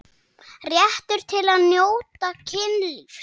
Réttur til að njóta kynlífs